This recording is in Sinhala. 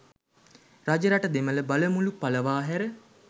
රජරට දෙමළ බලමුළු පලවා හැර